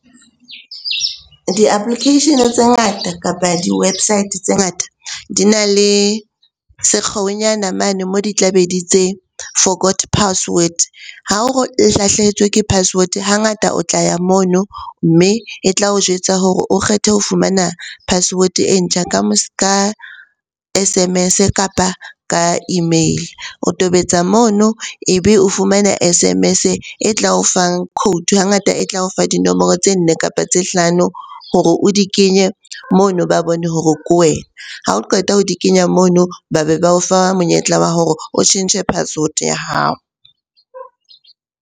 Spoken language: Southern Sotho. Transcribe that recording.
Di-application-e tse ngata kapa di-website tse ngata di na le sekgeo nyana mane moo di tla be di tse forgot password. Ha o lahlehetswe ke password hangata o tla ya mono, mme e tla o jwetsa hore o kgethe ho fumana password-e e ntjha ka S_M_S-e kapa ka email-e. O tobetsa mono ebe o fumana S_M_S-e e tla o fang code, hangata e tla o fa dinomoro tse nne kapa tse hlano hore o di kenye mono ba bone hore ke wena. Ha o qeta ho di kenya mono, ba be ba o fa monyetla wa hore o tjhentjhe password ya hao.